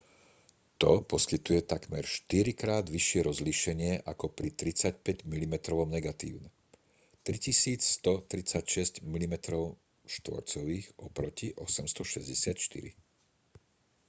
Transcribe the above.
to poskytuje takmer štyrikrát vyššie rozlíšenie ako pri 35-milimetrovom negatíve 3136 mm2 oproti 864